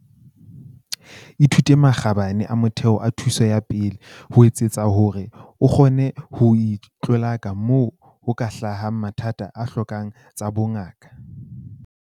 Ithute makgabane a motheo a thuso ya pele, ho etsetsa hore o kgone ho itlolaka moo ho ka hlahang mathata a hlokang tsa bongaka.